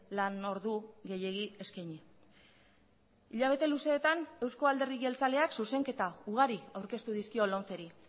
lan ordu gehiegi eskaini hilabete luzeetan euzko alderdi jeltzaleak zuzenketa ugari aurkeztu dizkio lomceri